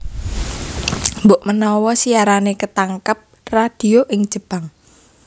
Mbokmenawa siarané ketangkep radio ing Jepang